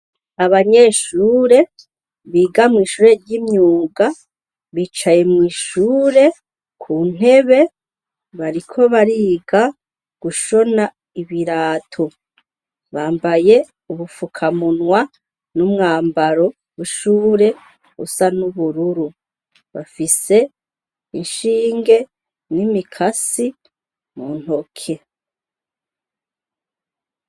Abanyeshure biga mw'ishure ry'imyuga bicaye mw'ishure ku ntebe bariko bariga gushona ibirato bambaye ubufukamunwa n'umwambaro bushure busa n'ubururu ise inshinge n'imikasi muntoke.